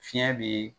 Fiɲɛ be